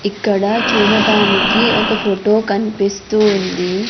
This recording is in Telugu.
ఇక్కడ చూడటానికి ఒక ఫోటో కన్పిస్తూ ఉంది.